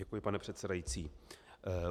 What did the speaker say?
Děkuji, pane předsedající.